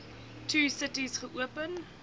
two cities geopen